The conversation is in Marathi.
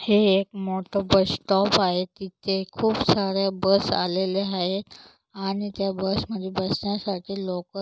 हे एक मोठ बस स्टॉप आहे जिथ खूप साऱ्या बस आलेल्या आहेत आणि त्या बसमध्ये बसण्यासाठी लोक